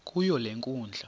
kuyo le nkundla